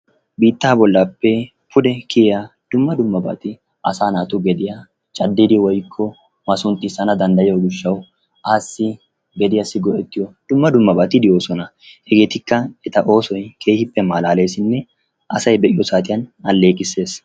Biittaa bollappe pude kiyaa dumma dummabati asa naatu gediya caddidi woykko masunxxissana danddayiyo assi gediyas go'ettiyo dumma dummabatti de'eesona. Hegeetikka eta oosoy keehippe malaleesinne asay be'iyo saatiyan aleeqisses.